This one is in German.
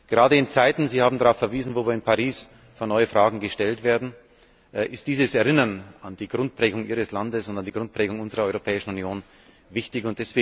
Gerade in Zeiten Sie haben darauf verwiesen in denen wir in Paris vor neue Fragen gestellt werden, ist dieses Erinnern an die Grundprägung Ihres Landes und an die Grundprägung unserer Europäischen Union wichtig.